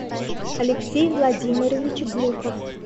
алексей владимирович глухов